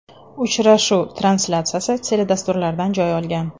Uchrashuv translyatsiyasi teledasturlardan joy olgan.